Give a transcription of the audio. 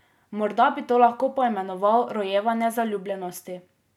Morda bi to lahko poimenoval rojevanje zaljubljenosti.